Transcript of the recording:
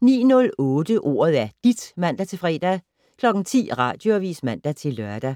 09:08: Ordet er dit (man-fre) 10:00: Radioavis (man-lør)